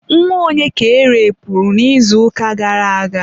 nwa onye ka erepuru n'izuụka gara aga?